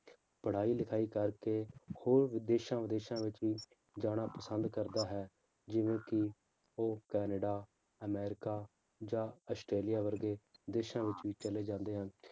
ਪੜ੍ਹਾਈ ਲਿਖਾਈ ਕਰਕੇ ਹੋਰ ਦੇਸਾਂ ਵਿਦੇਸ਼ਾਂ ਵਿੱਚ ਵੀ ਜਾਣਾ ਪਸੰਦ ਕਰਦਾ ਹੈ ਜਿਵੇਂ ਕਿ ਉਹ ਕਨੇਡਾ ਅਮਰੀਕਾ ਜਾਂ ਅਸਟ੍ਰੇਲੀਆ ਵਰਗੇ ਦੇਸਾਂ ਵਿੱਚ ਵੀ ਚਲੇ ਜਾਂਦੇ ਹਨ